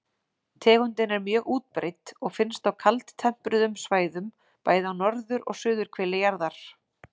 Tegundin er mjög útbreidd og finnst á kaldtempruðum svæðum, bæði á norður- og suðurhveli jarðar.